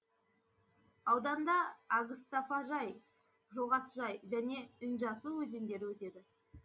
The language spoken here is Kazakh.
ауданда агстафажай жоғасжай және інжасу өзендері өтеді